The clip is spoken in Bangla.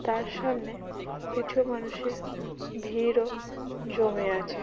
তার সামনে কিছু মানুষের ভীড়ও জমে আছে।